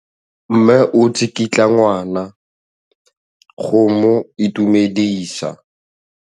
Mme o tsikitla ngwana go mo itumedisa.